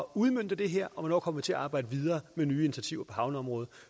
udmønte det her og hvornår kommer vi til at arbejde videre med nye initiativer på havneområdet